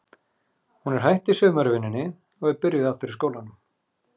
Hún er hætt í sumarvinnunni og er byrjuð aftur í skólanum.